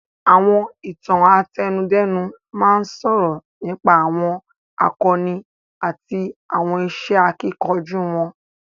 Àwọn Ìtàn àtẹnudẹ́nu máa ń sọ̀rọ̀ nípa àwọn àkọni àti àwọn iṣẹ́ akíkanjú wọn